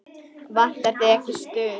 Vantar þig ekki stuð?